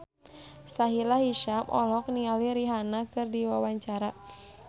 Sahila Hisyam olohok ningali Rihanna keur diwawancara